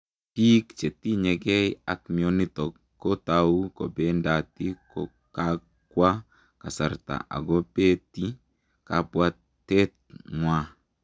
Piik chetinyegei ak mionitok kotau kobendati kokakwaa kasartaa akopetii kabwatet ngwaaa